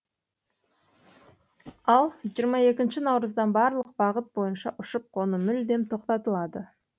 ал жиырма екінші наурыздан барлық бағыт бойынша ұшып қону мүлдем тоқтатылады